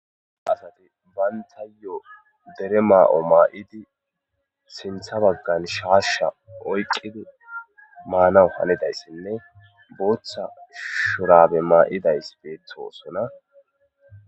Asati bayntayo dere maa7o maa7idi sintha baggan shaasha oyqidi maanaw halidayssinne booththa shurabe maa7idays beettosona.